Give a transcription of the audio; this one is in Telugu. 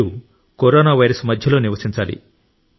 మీరు కరోనా వైరస్ మధ్యలో నివసించాలి